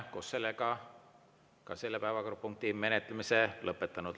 Oleme ka selle päevakorrapunkti menetlemise lõpetanud.